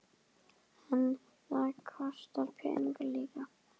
En þetta kostar peninga líka?